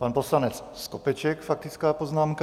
Pan poslanec Skopeček faktická poznámka.